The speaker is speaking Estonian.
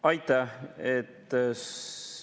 Aitäh!